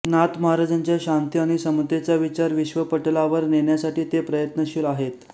नाथ महाराजांच्या शांती आणि समतेचा विचार विश्वपटलावर नेण्यासाठी ते प्रयत्नशील आहेत